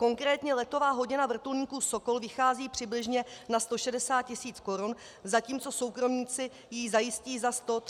Konkrétně letová hodina vrtulníku Sokol vychází přibližně na 160 tisíc korun, zatímco soukromníci ji zajistí za 130 tisíc.